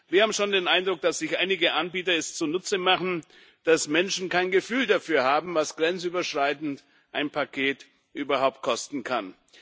Wir haben schon den Eindruck, dass es sich einige Anbieter zunutze machen, dass Menschen kein Gefühl dafür haben, was ein grenzüberschreitendes Paket überhaupt kosten kann.